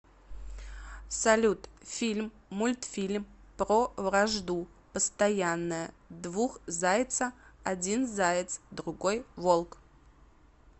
салют фильм мультфильм про вражду постоянная двух зайца один заяц другой волк